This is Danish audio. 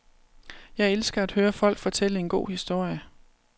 Jeg elsker at høre folk fortælle en god historie.